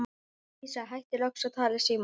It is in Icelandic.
Dísa hættir loks að tala í símann.